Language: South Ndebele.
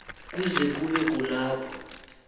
kuze kube kulapho